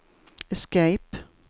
escape